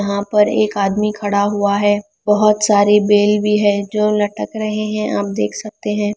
यहां पर एक आदमी खड़ा हुआ है बहुत सारी बेल भी है जो लटक रहे हैं आप देख सकते हैं।